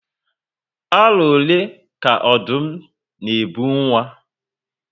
Aro ole ka Ọdụm na ebu nwa?